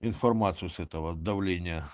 информацию с этого давление